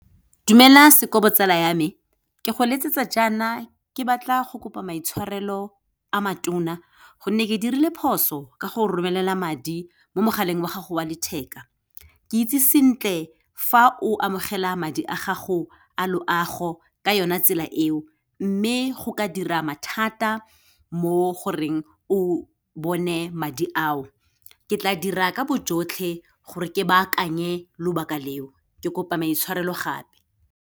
Dumela Sekobo tsala ya me, ke go letsetsa jaana ke batla go kopa maitshwarelo a matona, gonne ke dirile phoso ka go romelela madi mo mogaleng wa gago wa letheka. Ke itse sentle fa o amogela madi a gago a loago ka yona tsela eo, mme go ka dira mathata mo goreng o bone madi ao. Ke tla dira ka bojotlhe gore ke bakanye lobaka leo. Ke kopa maitshwarelo gape.